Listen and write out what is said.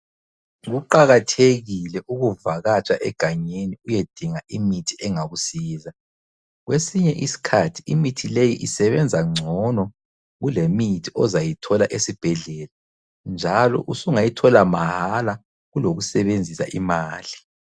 Kuqakathekile ukuvakatsha egangeni uyedinga imithi engakusiza. Kwesinye isikhathi imithi leyi isebenza ngcono kulemithi ozayithola esibhedlela njalo usungayithola mahala kulokusebenzisa imali.